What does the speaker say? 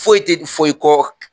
Foyi tɛ fɔ i kɔ